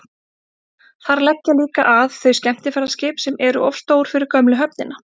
þar leggja líka að þau skemmtiferðaskip sem eru of stór fyrir gömlu höfnina